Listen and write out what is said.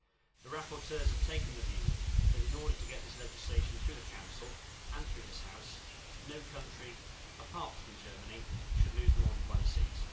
The rapporteurs have taken the view that in order to get this legislation through the Council and through this House, no country apart from Germany should lose more than one seat.